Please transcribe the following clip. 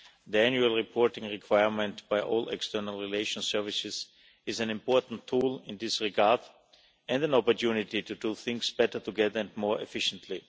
The annual reporting requirement by all external relations services is an important tool in this regard and an opportunity to do things better together and more efficiently.